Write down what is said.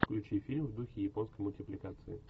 включи фильм в духе японской мультипликации